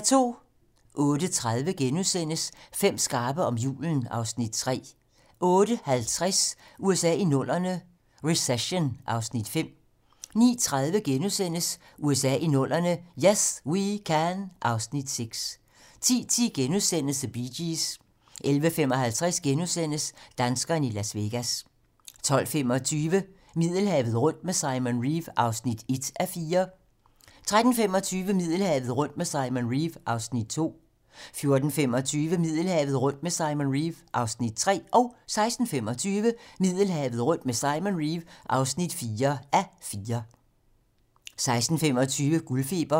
08:30: Fem skarpe om julen (Afs. 3)* 08:50: USA i 00'erne - recession (Afs. 5) 09:30: USA i 00'erne - "Yes We Can" (Afs. 6) 10:10: The Bee Gees * 11:55: Danskerne i Las Vegas * 12:25: Middelhavet rundt med Simon Reeve (1:4) 13:25: Middelhavet rundt med Simon Reeve (2:4) 14:25: Middelhavet rundt med Simon Reeve (3:4) 15:25: Middelhavet rundt med Simon Reeve (4:4) 16:25: Guldfeber